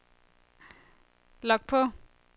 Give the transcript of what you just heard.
log på